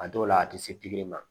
A dɔw la a tɛ se pikiri ma